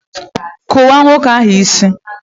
kụwaa nwoke ahụ isí!